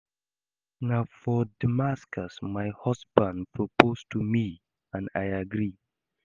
Na for Damascus my husband propose to me and I agree